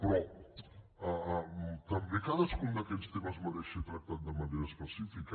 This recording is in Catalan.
però també cadascun d’aquests temes mereix ser tractat de manera específica